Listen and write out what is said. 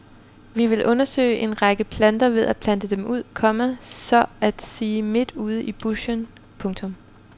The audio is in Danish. Vi vil undersøge en række planter ved at plante dem ud, komma så at sige midt ude i buschen. punktum